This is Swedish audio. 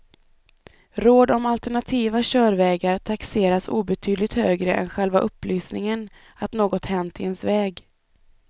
Råd om alternativa körvägar taxeras obetydligt högre än själva upplysningen att något hänt i ens väg.